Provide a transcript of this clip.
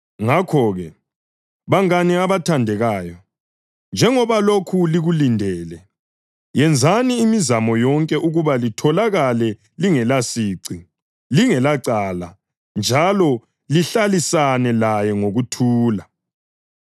Ngakho-ke, bangane abathandekayo, njengoba lokhu likulindele, yenzani imizamo yonke ukuba litholakale lingelasici, lingelacala njalo lihlalisane laye ngokuthula.